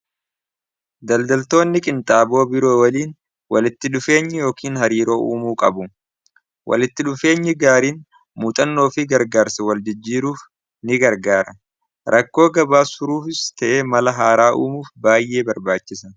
daldaltoonni qinxaaboo biroo waliin walitti dhufeenyi yookiin hariiroo uumuu qabu walitti dhufeenyi gaariin muuxannoo fii gargaarsa wal jijjiiruuf ni gargaara rakkoo gabaasuruuff ta'ee mala haaraa uumuuf baay'ee barbaachisa